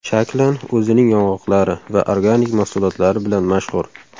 Shaklan o‘zining yong‘oqlari va organik mahsulotlari bilan mashhur.